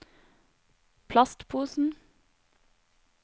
plastposen